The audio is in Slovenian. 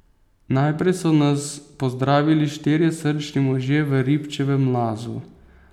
Najprej so nas pozdravili štirje srčni možje v Ribčevem Lazu.